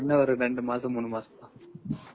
இன்னோ ஒரு ரெண்டு மாசம், மூணு மாசம் தான்.